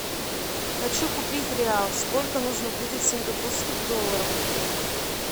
хочу купить реал сколько нужно будет сингапурских долларов